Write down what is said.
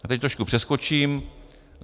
A teď trošku přeskočím.